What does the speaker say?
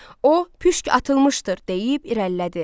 O, püşk atılmışdır deyib irəlilədi.